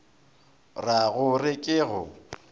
ra go re ke go